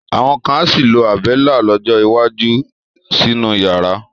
Àwọn kan á sì lo Àbẹ́lá lọ́jọ́ iwájú sínú yàrá.